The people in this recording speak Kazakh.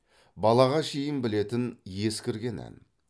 балаға шейін білетін ескірген ән